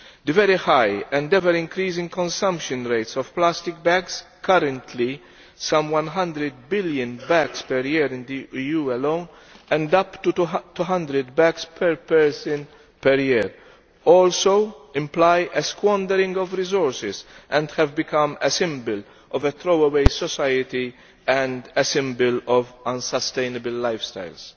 The very high and ever increasing consumption rates of plastic bags currently some 100 billion bags per year in the EU alone, and up to 200 bags per person per year also imply a squandering of resources and have become a symbol of a throw away society and a symbol of unsustainable lifestyles.